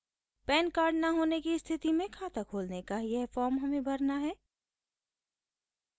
pan card न होने की स्थिति में खाता खोलने का यह फॉर्म हमें भरना है